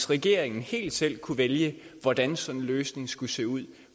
regeringen helt selv kunne vælge hvordan sådan en løsning skulle se ud